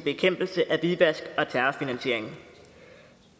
bekæmpelse af hvidvask og terrorfinansiering